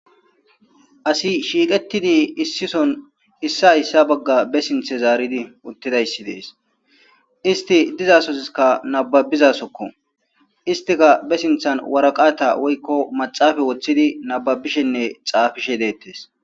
asi shiiqettidi issi soon issa issa bagga be sinthe zaaridi uttidayssi dees isti dizasoziskka nababizasokko istika be sinthan waraqata woykko maxaafa woththidi nababishenne xaafishe deettes